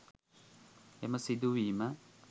එම සිදුවීම